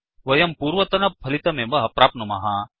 वयं पूर्वतन फलितमेव प्राप्नुमः